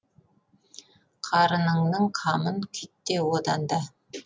қарыныңның қамын күйтте одан да